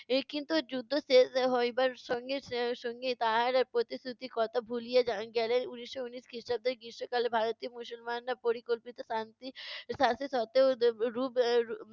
এর কিন্তু যুদ্ধ শেষ হইবার সঙ্গে এর সঙ্গে তাহারা প্রতিশ্রুতির কথা ভুলিয়া যান গেলেন। উনিশশো ঊনিশ খ্রিষ্টাব্দের গ্রীষ্মকালে ভারতীয় মুসলমানরা পরিকল্পিত শান্তি সত্ত্বেও রূপ